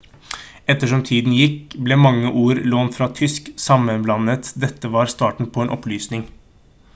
ettersom tiden gikk ble mange ord lånt fra tysk sammenblandet dette var starten på en opplysning